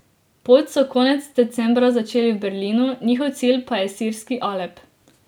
Pot so konec decembra začeli v Berlinu, njihov cilj pa je sirski Alep.